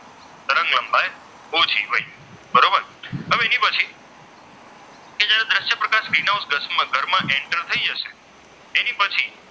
કદાચ greenhouse દર માં enter થઈ જશે એના પછી,